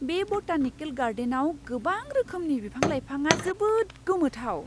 बे बटानिकेल गार्डेनआव गोबां रोखोमनि बिफां लाइफाङा जोबोद गोमोथाव!